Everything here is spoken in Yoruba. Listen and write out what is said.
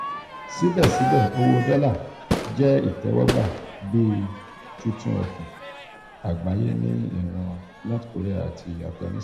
sibẹsibẹ owo dolla jẹ itẹwọgba bi tutu ofin agbaye ni iran north korea ati afiganisitani.